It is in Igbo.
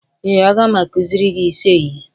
ee, a ga m akụziri gị ise ihe